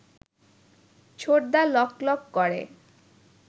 ছোটদা লকলক করে